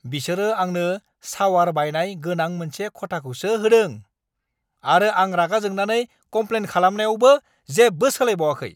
बिसोरो आंनो सावार बायनाय गोनां मोनसे खथाखौसो होदों आरो आं रागा जोंनानै कमप्लेन खालामनायावबो बेखौ सोलायबावाखै।